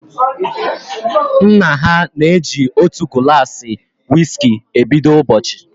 Nna ha na eji otu gulasi wiski e bido ụbọchị